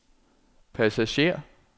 passager